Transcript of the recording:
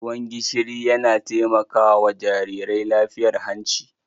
Ruwan gishiri yana taimaka wa jarirai lafiyar hanci